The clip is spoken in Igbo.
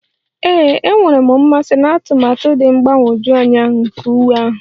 Ee, enwere m mmasị na atụmatụ dị mgbagwoju anya nke uwe ahụ